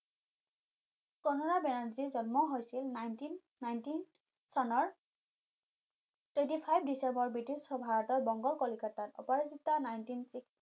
কনৰা বেনাৰ্জীৰ জন্ম হৈছিল nineteen nineteen চনৰ twenty five ডিচেম্বৰ বিটিছ ভাৰতৰ বংগৰ কলিকতাত nineteen six